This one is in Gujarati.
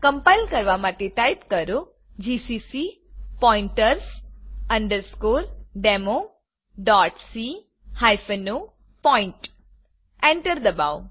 કમ્પાઈલ કરવા માટે ટાઇપ કરો GCC pointers democ o point enter ડબાઓ